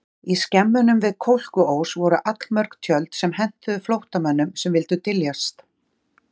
Í skemmunum við Kolkuós voru allmörg tjöld sem hentuðu flóttamönnum sem vildu dyljast.